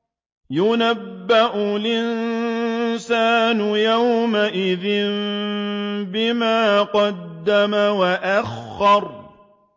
يُنَبَّأُ الْإِنسَانُ يَوْمَئِذٍ بِمَا قَدَّمَ وَأَخَّرَ